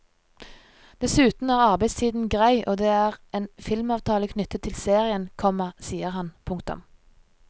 Dessuten er arbeidstiden grei og det er en filmavtale knyttet til serien, komma sier han. punktum